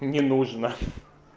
мне нужно